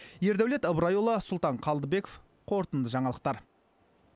ердәулет ыбырайұлы сұлтан қалдыбеков қорытынды жаңалықтар